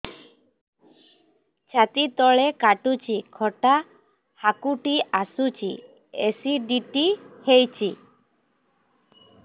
ଛାତି ତଳେ କାଟୁଚି ଖଟା ହାକୁଟି ଆସୁଚି ଏସିଡିଟି ହେଇଚି